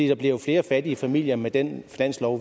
der bliver flere fattige familier med den finanslov